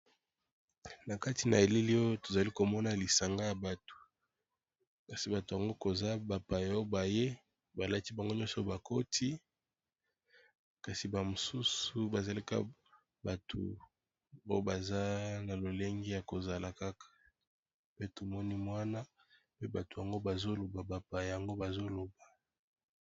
Na kati na elili oyo tozali komona lisanga ya bato, kasi bato yango koza bapaya oyo baye balati bango nyonso babikoti, kasi bamosusu bazalaki bato oyo baza na lolenge ya kozala kaka, pe tomoni mwana pe bato yango bazoloba bapa yango bazoloba.